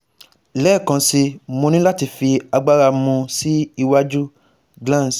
lẹẹkansi Mo ni lati fi agbara mu si iwaju glans